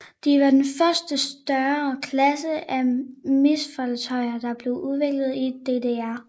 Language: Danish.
De var den første større klasse af missilfartøjer der blev udviklet i DDR